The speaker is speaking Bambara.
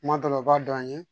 Kuma dɔ la u b'a dɔn an ye